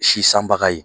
Si sanbaga ye